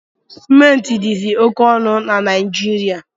Sementi dizi oke onu na Najirịa